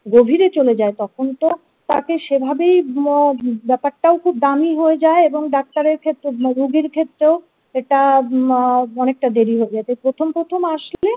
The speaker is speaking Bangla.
গভীরে চলে যায় তখন তো তাকে সেভাবেই উম ব্যাপারটাও খুব দামি হয়ে যায় এবং ডাক্তারের ক্ষেত্রে মানে রোগীর ক্ষেত্রেও সেটা উম অনেকটা দেরি হয়ে যাবে প্রথম প্রথম আসলে।